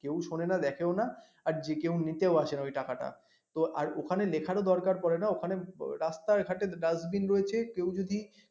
কেউ শোনেও না দেখেও না আর যে কেউ নিতেও আসে না ওই টাকা টা তো ওখানে লিখার ও দরকার পড়ে না ওখানে রাস্তাঘাটের dustbin রয়েছে কেউ যদি